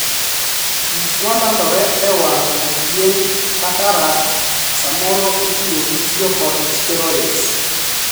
Gik ma landore e wang' achien ('cataract') samoro itudo gi tiyo kod 'steroids'.